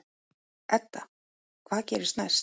Edda: Hvað gerist næst?